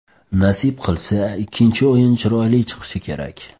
Nasib qilsa, ikkinchi o‘yin chiroyli chiqishi kerak.